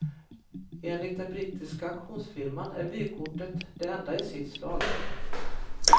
Enligt den brittiska auktionsfirman är vykortet det enda i sitt slag.